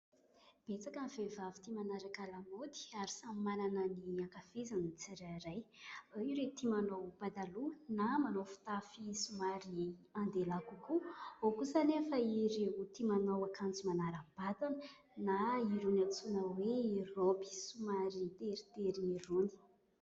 Betsaka ny vehivavy tia manaraka lamaody ary samy manana ny ankafiziny ny tsirairay : ao ireo tia manao pataloha na manao fitafy somary andehilahy kokoa, ao kosa nefa ireo tia manao akanjo manarabatana na irony antsoina hoe robe somary teritery irony.